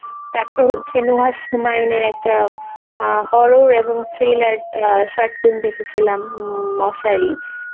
তারপর হচ্ছে নুহার শুমায়নের একটা অ্যাঁ horror এবং thriller short film দেখেছিলাম উম মশারি